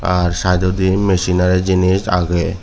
are sidedodi machinenari jinish age.